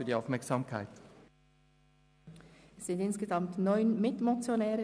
Es gibt insgesamt neun Mitmotionäre;